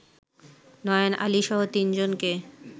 নয়ন আলীসহ তিনজনকে